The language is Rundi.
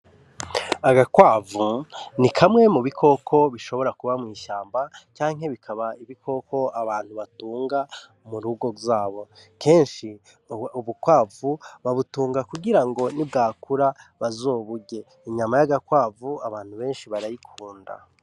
Agakwavu ni kamwe mu bikoko bishobora kiba mw’ishamba canke bikaba ibikoko abantu batunga mu ngo zabo . Kenshi ubukwavu babutunga kugira ngo nibwakura bazoburye , inyama y’agakwavu abantu benshi barayikunda .